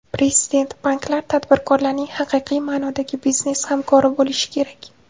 Prezident: Banklar tadbirkorlarning haqiqiy ma’nodagi biznes hamkori bo‘lishi kerak.